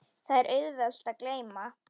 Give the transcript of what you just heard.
Það er auðvelt að gleyma.